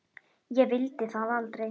Ég vildi það aldrei.